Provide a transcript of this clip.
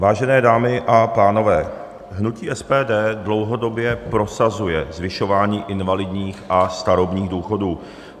Vážené dámy a pánové, hnutí SPD dlouhodobě prosazuje zvyšování invalidních a starobních důchodů.